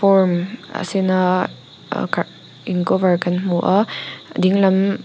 form a sen a in cover kan hmu a dinglam--